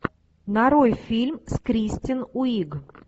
нарой фильм с кристен уиг